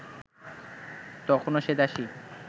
তখনও সে দাসী